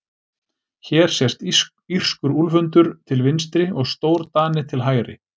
Hér sést írskur úlfhundur til vinstri og stórdani til hægri.